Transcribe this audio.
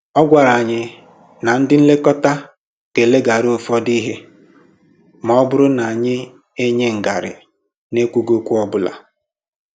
A gwàrà anyị na ndị nlekọta gà-eleghara ụfọdụ ihe ma ọ bụrụ na anyị enye ngarị na-ekwughị okwu ọbụla